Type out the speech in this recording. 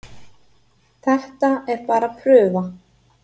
Þetta er bara prufa